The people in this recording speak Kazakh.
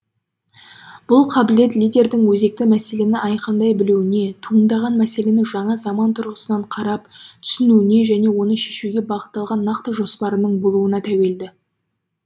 бұл қабілет лидердің өзекті мәселені айқындай білуіне туындаған мәселені жаңа заман тұрғысынан қарап түсінуіне және оны шешуге бағытталған нақты жоспарының болуына тәуелді